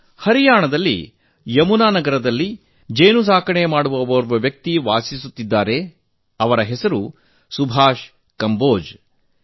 ಹರಿಯಾಣದ ಯಮುನಾನಗರದಲ್ಲಿ ಜೇನುಸಾಕಣೆ ಮಾಡುವ ಒರ್ವ ಮಿತ್ರ ಸುಭಾಷ್ ಕಂಬೋಜ್ ಜಿ ವಾಸಿಸುತ್ತಿದ್ದಾರೆ